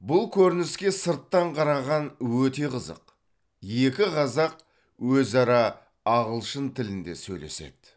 бұл көрініске сырттан қараған өте қызық екі қазақ өзара ағылшын тілінде сөйлеседі